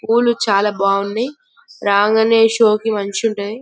పూలు చాల బాగున్నాయ్ రాగానే షూ కి మంచిగటుందది--